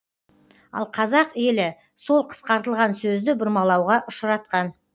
ал қазақ елі сол қысқартылған сөзді бұрмалауға ұшыратқан